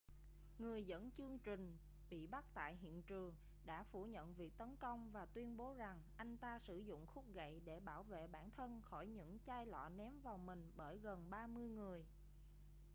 người dẫn chương trình bị bắt tại hiện trường đã phủ nhận việc tấn công và tuyên bố rằng anh ta sử dụng khúc gậy để bảo vệ bản thân khỏi những chai lọ ném vào mình bởi gần ba mươi người